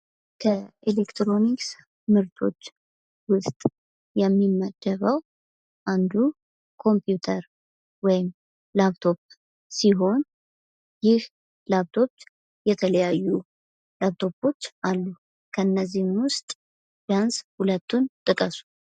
ከኤሌክትሮኒክስ ምርቶች ዉስጥ የሚመደበው አንዱ ኮምፕዩተር ወይም ላፕቶፕ ሲሆን ይህ ላፕቶፕ የተለያዩ ላፕቶፖች አሉ። ከነዚህም ዉስጥ ቢያንስ ሁለቱን ጥቀሱ።